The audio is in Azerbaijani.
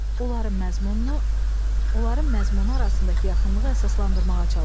Onların məzmununu, onların məzmunu arasındakı yaxınlığı əsaslandırmağa çalışın.